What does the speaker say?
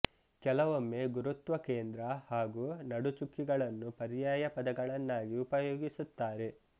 ಕೆಲವೊಮ್ಮೆ ಗುರುತ್ವ ಕೇಂದ್ರ ಹಾಗೂ ನಡುಚುಕ್ಕಿಗಳನ್ನು ಪರ್ಯಾಯ ಪದಗಳನ್ನಾಗಿ ಉಪಯೋಗಿಸುತ್ತಾರೆ